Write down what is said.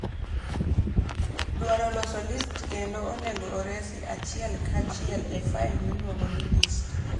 dwaro loso list kendo onego oresi achiel kachiel e file miluongo ni list